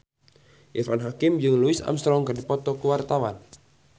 Irfan Hakim jeung Louis Armstrong keur dipoto ku wartawan